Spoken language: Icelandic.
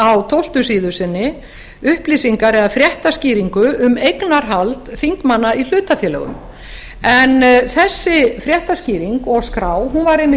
á tólfta síðu sinni upplýsingar eða fréttaskýringu um eignarhald þingmanna í hlutafélögum en þessi fréttaskýring og skrá var einmitt